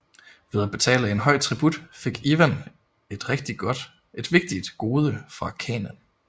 Ved at betale en høj tribut fik Ivan et vigtigt gode fra khanen